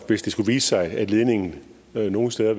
hvis det skulle vise sig at ledningen nogle steder